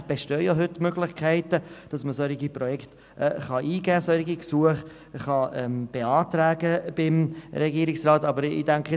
Es bestünden schon heute Möglichkeiten, die Unterstützung solcher Projekte beim Regierungsrat zu beantragen.